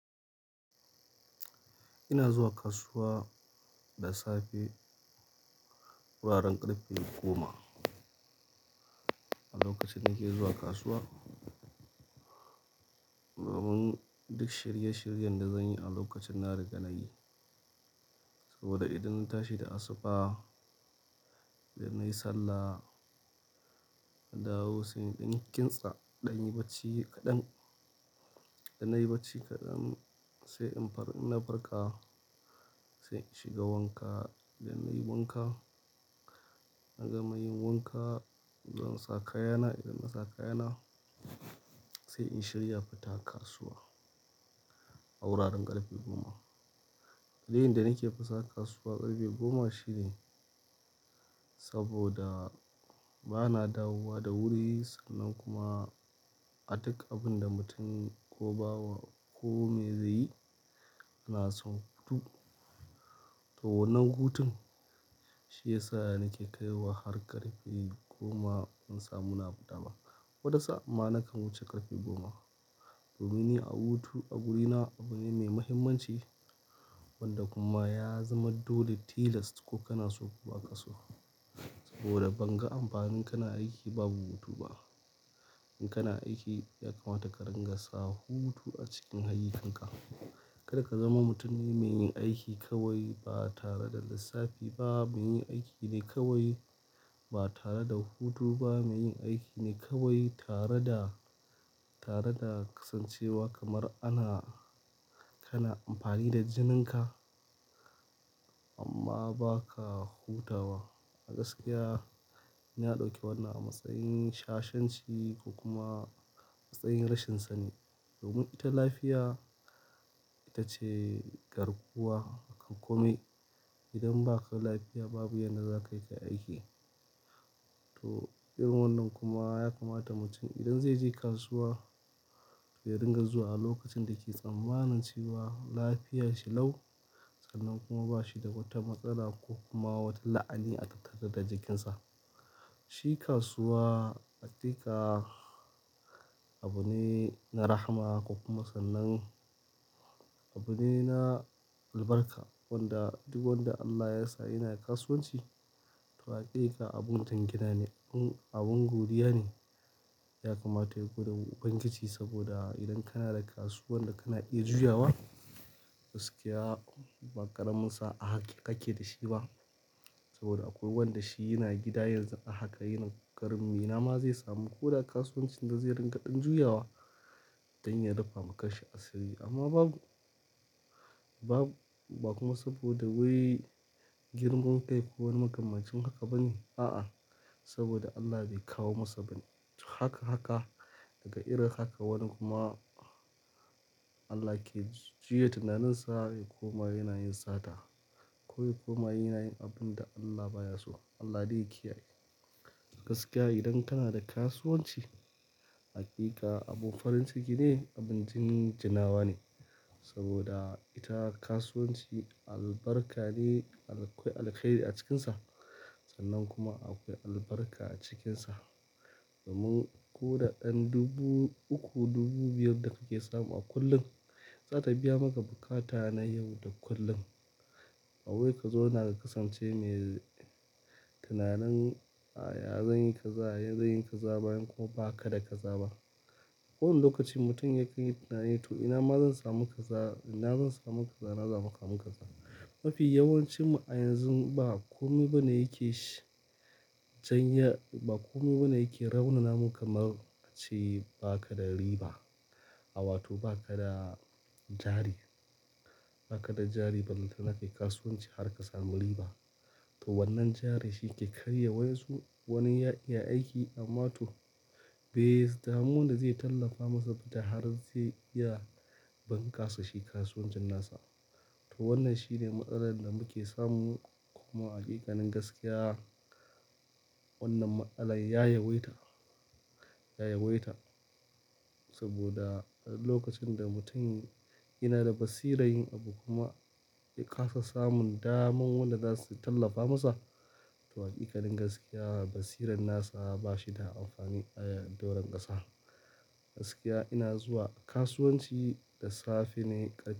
Ina zuwa kasuwa da safe, wuraren ƙarfe goma. A lokacin nake zuwa kasuwa, domin duk shirye-shiryen da zanyi a lokacin na riga nayi. Saboda idan na tashi da asuba, idan nayi sallah, na dawo sai in dan kintsa, in ɗanyi bacci kaɗan. Idan nayi bacci kadan sai in-- ina farka sai in shiga wanka. Idan nayi wanka, na gama yin wanka, zan sa kayana. Zansa kayana sai in shirya fita kasuwa. Saboda bana dawowa da wuri sa'anann kuma a dukkanin da abinda mutum zaiyi ko bawa ko meye zaiyi to wannan hutun shiya sa nake kaiwa har ƙarfe goma in samu na fita ba. Wani sa'in ma nakan huce karfe goma. Domin ni a hutu a wurina abu ne mai mahimmanci wanda kuma ya zama dole tilas ko kana so ko baka so. Saboda banga amfanin kana aiki babu hutu ba. In kana aiki ya kamata ka ringa sa hutu a cikin ayyikanka. Karka zama mutum ne mai yin aiki kawai ba tare da lissafi ba, mai yin aiki ne kawai ba tare da hutu ba, mai yin aiki ne kawai tare da, tare da kasancewa kamar ana-- kana amfani da jininka amma ba ka hutawa. A gaskiya, ina ɗauke wannan a matsayin shashanci ko kuma matsayin rashin sani. Domin ita lafiya ita ce garkuwa a kan kome. Idan baka lafiya babu yanda za kayi kai aiki. To irin wannan kuma yakamata mutum idan zaice kasuwa ya ringa zuwa a lokacin dake tsammanin cewa lafiyashi lau sannan kuma bashi da wata matsala ko kuma wata la'ani a tattare da jikinsa. Shi kasuwa hakika abu ne na rahama ko kuma sannan abu ne na albarka. Wanda duk wanda Allah yasa yana kasuwanci to hakika abu mutum gidane. Abun godiyane. Ya kamata ya gode ma uban giji saboda idan kana da kasuwan da kana iya juyawa, gaskiya ba ƙaramin sa'a haka kake dashi ba. Saboda aƙwai wanda shi yana gida yanzu a haka yana ƙaramin inama zai samu koda kasuwancin da zai ringa ɗan juyawa don ya rafama kashi asiri, amma babu, babu ba kuma saboda wai girman kai ko wani makamancin haka bane. A'a, saboda Allah bai kawo masa bane. Haka, haka daga irin haka wani kuma Allah ke juya tunaninsa ya koma yana yin sata koya koma yana yin abun da Allah baya so. Allah de ya kiyaye. Gaskiya idan kana da kasuwanci, hakika abin farin ciki ne, abin jin jinawa ne. Saboda ita kasuwanci albarka ne akwai alheri a cikinsa sannan kuma akwai albarka a cikinsa. Domin koda ɗan dubu uku, dubu biyar da kake samu a kullum, zata biya maka bukata na yau da kullum. Bawai ka zouns ka kasance mai tunanin, ya zanyi kaza, ya zanyi kaza bazan kuma bakada kaza ba. Irin lokacin mutum ya kanyi tunanin tom inama zan samu kaza inama zan samu kaza. Mafi yawancinmu a yanzu ba kome bane yake shi. Can ya-- ba kome bane yake raunanamu kamar ace baka da riba. A wato baka da jari, bakada jari balantana kayi kasuwanci harka samu riba. To wannan jari shike karya waƴansu wani ya iya aiki amma to bai damu da zai tallafa masa da har zai iya bankasa shi kasuwancin nasa. To wannan shine matsalar da muke samu kuma hakikanin gaskiya wannan matsalar ya yawaita, ya yawaita. Saboda lokacin da mutum yana da basira yin abu kuma ya kasa samun daman wanda zasu tallafa masa, to hakikanin gaskiya basiran nasa ba shida amfani a doron ƙasa. Gaskiya ina zuwa kasuwanci da safe ne ƙarfe.